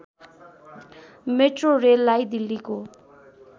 metro रेललाई दिल्लीको